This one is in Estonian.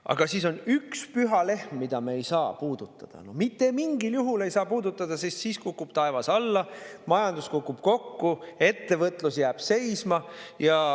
Aga siis on üks püha lehm, mida me ei saa puudutada, mitte mingil juhul ei saa puudutada, sest muidu kukub taevas alla, majandus kukub kokku, ettevõtlus jääb seisma.